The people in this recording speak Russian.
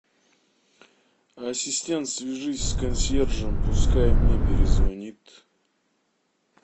ассистент свяжись с консьержем пускай мне перезвонит